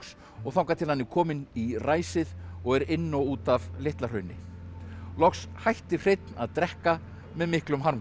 og þangað til hann er kominn í ræsið og er inn og út af Litla Hrauni loks hætti Hreinn að drekka með miklum harmkvælum